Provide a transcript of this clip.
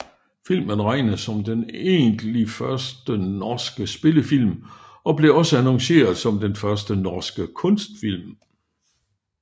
Filmen regnes som den egentlig første norske spillefilm og blev også annonceret som Den første norske kunstfilm